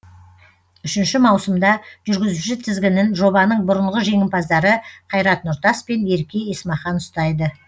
үшінші маусымда жүргізуші тізгінін жобаның бұрынғы жеңімпаздары қайрат нұртас пен ерке есмахан ұстайды